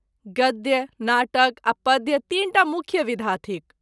गद्य, नाटक आ पद्य तीनटा मुख्य विधा थिक।